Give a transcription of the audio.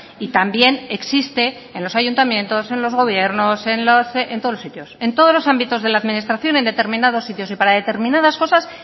y también existe en los ayuntamientos en los gobiernos en todos los sitios en todos los ámbitos de la administración en determinados sitios y para determinadas cosas